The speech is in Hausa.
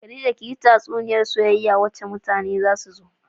Khadija kiyi tatsuniyar soyayya wacce mutane za su so.